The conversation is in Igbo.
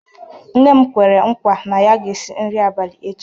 Nne m kwere nkwa na ya ga-esi nri abalị echi.